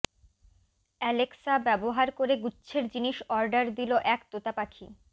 Alexa ব্যবহার করে গুচ্ছের জিনিস অর্ডার দিল এক তোতাপাখি